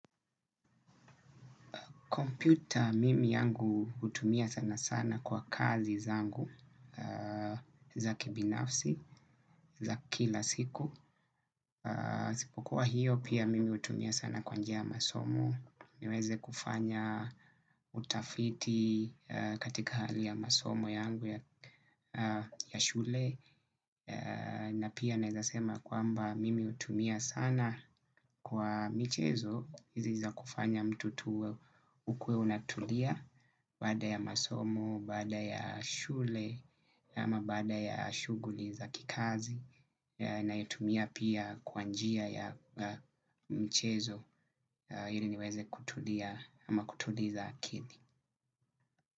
Kompyuta mimi yangu hutumia sana sana kwa kazi zangu za kibinafsi, za kila siku. Isipokuwa hiyo, pia mimi hutumia sana kwa njia ya masomo. Niweze kufanya utafiti katika hali ya masomo yangu ya shule. Na pia nawezasema kwamba mimi hutumia sana kwa michezo. Hizi za kufanya mtutu ukuwe unatulia, baada ya masomo, baada ya shule, ama baada ya shughuli za kikazi, naitumia pia kwa njia ya mchezo ili niweze kutulia ama kutuliza akili.